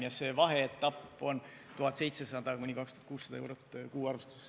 Ja see vaheetapp on 1700–2600 eurot kuu arvestuses.